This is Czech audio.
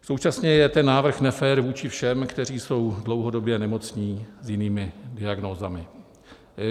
Současně je ten návrh nefér vůči všem, kteří jsou dlouhodobě nemocní s jinými diagnózami.